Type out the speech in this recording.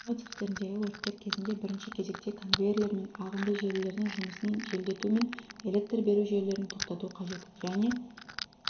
жинау цехтеріндегі өрттер кезінде бірінші кезекте конвейерлер мен ағынды желілердің жұмысын желдету мен электр беру жүйелерін тоқтату қажет және